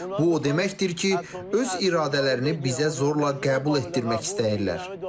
Bu o deməkdir ki, öz iradələrini bizə zorla qəbul etdirmək istəyirlər.